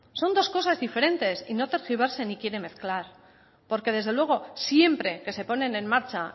son dos cosas diferentes y no tergiverse ni quiera mezclar porque desde luego siempre que se ponen en marcha